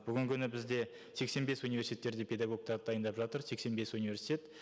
бүгінгі күні бізде сексен бес университеттерде педагогтарды дайындап жатыр сексен бес университет